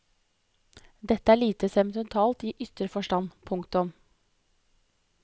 Dette er lite sentimentalt i ytre forstand. punktum